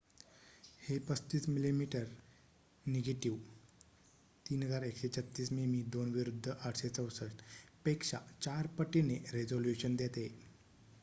हे 35 मिमी निगेटिव्ह 3136 मिमी2 विरुद्ध 864 पेक्षा 4 पटीने रेझोल्युशन देते